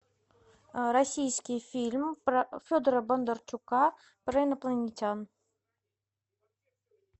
российский фильм федора бондарчука про инопланетян